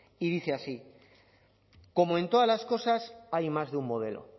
y dice así como en todas las cosas hay más de un modelo